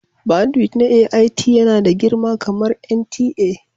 bandwidth na AIT yana da girma kamar NTA